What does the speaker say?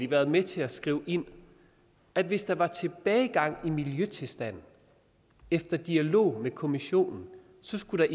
været med til at skrive ind at hvis der var tilbagegang i miljøtilstanden og efter dialog med kommissionen så skulle